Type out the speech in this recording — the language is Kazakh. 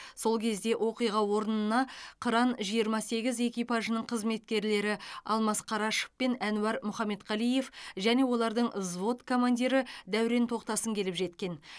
сол кезде оқиға орнына қыран жиырма сегіз экипажының қызметкерлері алмас қарашов пен әнуар мұхаметқалиев және олардың взвод командирі дәурен тоқтасын келіп жеткен